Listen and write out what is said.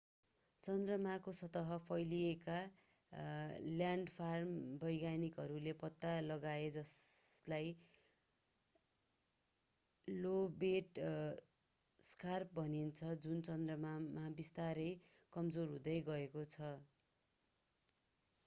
चन्द्रमाको सतह फैलिएका ल्यान्डफार्म वैज्ञानिकहरूले पत्ता लगाए जसलाई लोबेट स्कार्प भनिन्छ जुन चन्द्रमामा बिस्तारै कमजोर हुँदै गएको छ